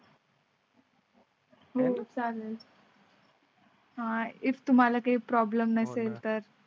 हो चालेल. आह इफ तुम्हाला काही प्रॉब्लम नसेल तर?